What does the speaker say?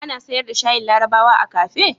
Ana sayar da shayin larabawa a kafe?